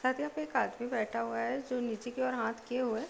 खटिया पे एक आदमी बैठा हुआ है जो नीचे की ओर हाथ किए हुए हैं।